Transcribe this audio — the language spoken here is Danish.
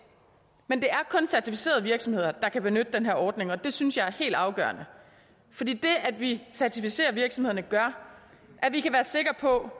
men det er kun certificerede virksomheder der kan benytte den her ordning og det synes jeg er helt afgørende for det at vi certificerer virksomhederne gør at vi kan være sikre på